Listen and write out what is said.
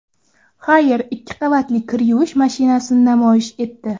Haier ikki qavatli kir yuvish mashinasini namoyish etdi.